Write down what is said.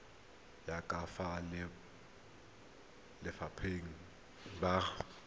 ya ka fa balelapa ba